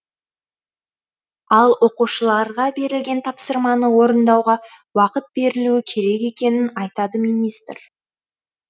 ал оқушыларға берілген тапсырманы орындауға уақыт берілуі керек екенін айтады министр